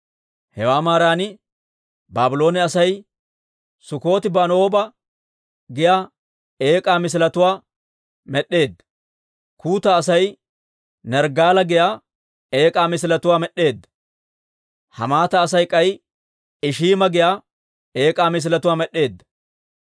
Hewaa maaran Baabloone Asay Sukkoti-Banooba giyaa eek'aa misiletuwaa med'd'eedda. Kuuta Asay Nerggaala giyaa eek'aa misiletuwaa med'd'eedda. Hamaata Asay k'ay Ishiima giyaa eek'aa misiletuwaa med'd'eedda.